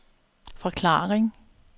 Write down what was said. forklaring